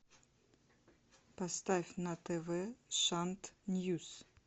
поставь на тв шант ньюс